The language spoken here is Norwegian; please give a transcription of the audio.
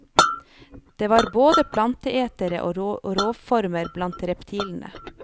Det var både planteetere og rovformer blant reptilene.